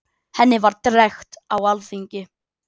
henni var drekkt á alþingi